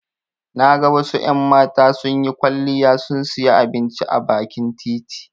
Na ga wasu en mata sunyi kwaliya sun siya abinci a bakin titi